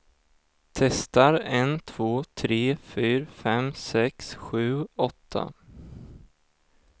Testar en två tre fyra fem sex sju åtta.